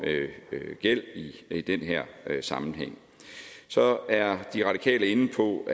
gæld i den her sammenhæng så er de radikale inde på